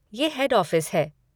ये head office है।